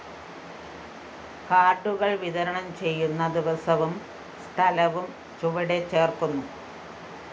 കാര്‍ഡുകള്‍ വിതരണം ചെയ്യുന്ന ദിവസവും സ്ഥലവും ചുവടെ ചേര്‍ക്കുന്നു